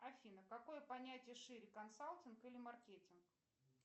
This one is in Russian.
афина какое понятие шире консалтинг или маркетинг